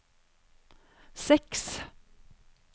seks